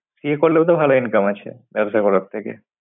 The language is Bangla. CA করলে তো ভাল income আছে ব্যবসা করার থেকে।